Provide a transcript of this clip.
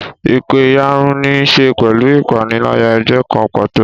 Ìpẹ̀yàrun ní í ṣe pẹ̀lú ìpànìyàn ẹgbẹ́ kan pàtó.